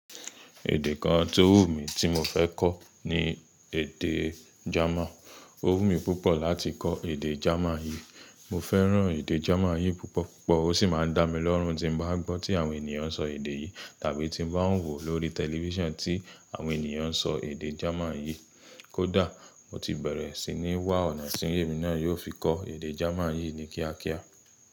Èdè kan tó wù mí tí mo fẹ́ kọ́ ni èdè German. Ó wù mí púpọ̀ láti kọ́ èdè German yìí. Mo fẹ́ràn èdè German yìí púpọ̀ púpọ̀ ó sì máa ń dá mi lọ́rùn tí n bá gbọ́ tí àwọn ènìyàn ń sọ èdè yìí tàbí tí mo bá ń wò lórí tẹlifísàn tí àwọn ènìyàn ń sọ èdè German yìí. Kódà mo ti bẹ̀rẹ̀ sí ní wá ọ̀nà tí èmi náà yóò fi kọ́ èdè German yìí ní kíákíá.